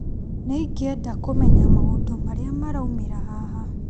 Nĩ ingĩenda kũmenya maũndũ marĩa maraumĩra haha.